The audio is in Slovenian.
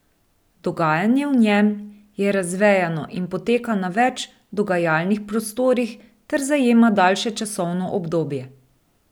Dogajanje v njem je razvejano in poteka na več dogajalnih prostorih ter zajema daljše časovno obdobje.